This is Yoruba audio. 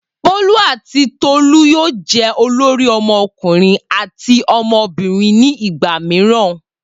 Bolu ati Tolu yoo jẹ olori ọmọkunrin ati ọmọbirin ni igba miiran.